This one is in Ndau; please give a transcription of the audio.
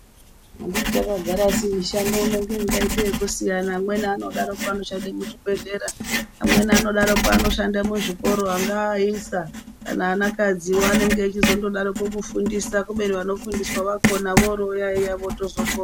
Anditi takagara asi mishando ino ngeingaiteyekusiyana amweni anodaroko anoshande muzvibhehlera ,amweni anodarokwo anoshande muzvikora angaa aisa, kana ana kadziwo anenge echizondodaroko kufundisa, kubeni vanofundiswa vakona vorovoyayiya vozotokona.